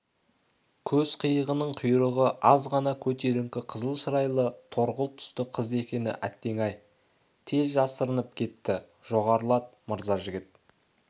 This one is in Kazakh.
көз қиығының құйрығы аз ғана көтеріңкі қызыл шырайлы торғылт түсті қыз екен әттең-ай тез жасырынып кетті жоғарылат мырзажігіт